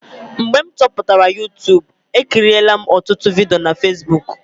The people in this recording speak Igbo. Mgbe m chọpụtara Yutubu, ekirila m ọtụtụ vidiyo na Fesbuk.